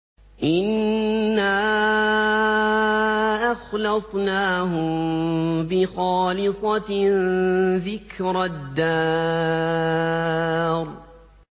إِنَّا أَخْلَصْنَاهُم بِخَالِصَةٍ ذِكْرَى الدَّارِ